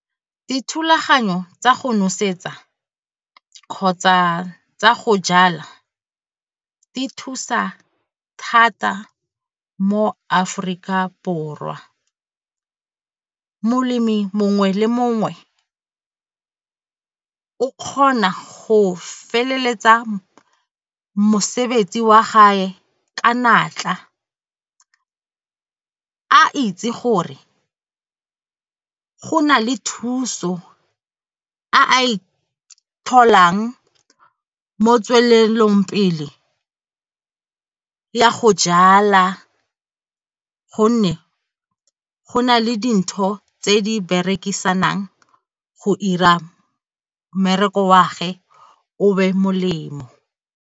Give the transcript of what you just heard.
Dithulaganyo tsa go nosetsa kgotsa tsa go jala di thusa thata mo Aforika Borwa. Molemi mongwe le mongwe ke kgona go feleletsa mosebetsi wa gae ka natla a itse gore go na le thuso a a e tholang mo tswelelopele ya go jala gonne go na le dintho tse a di berekisang go 'ira mmereko wa ge o be molemo.